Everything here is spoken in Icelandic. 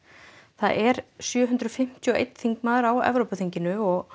það er sjö hundruð fimmtíu og einn þingmaður á Evrópuþinginu og